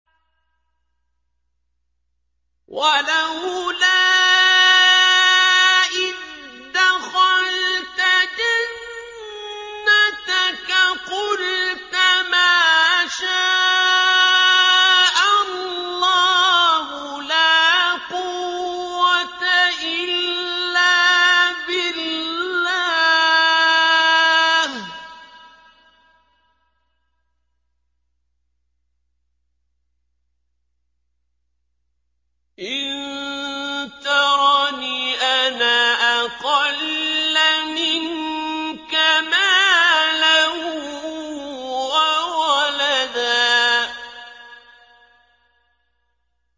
وَلَوْلَا إِذْ دَخَلْتَ جَنَّتَكَ قُلْتَ مَا شَاءَ اللَّهُ لَا قُوَّةَ إِلَّا بِاللَّهِ ۚ إِن تَرَنِ أَنَا أَقَلَّ مِنكَ مَالًا وَوَلَدًا